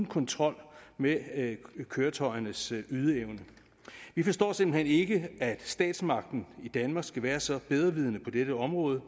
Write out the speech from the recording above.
kontrol med køretøjernes ydeevne vi forstår simpelt hen ikke at statsmagten i danmark skal være så bedrevidende på dette område